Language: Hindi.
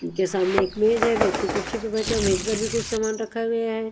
उनके सामने एक मेज है व्यक्ति कुर्सी पे बैठा मेज पर भी कुछ सामान रखा गया है।